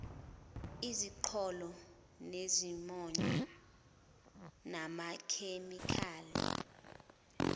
iziqholo nezimonyo namakhemikhali